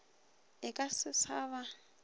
e ka se sa ba